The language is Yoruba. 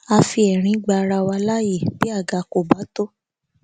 a fi ẹrín gba ara wa laye bí àga kò bá tó